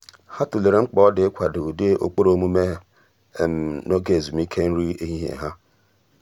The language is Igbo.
há tụ́lèrè mkpa ọ́ dị́ ị́kwàdò ụ́dị́ ụ́kpụ́rụ́ ọ́mụ́mé n’ógè ezùmíké nrí éhíhìé há.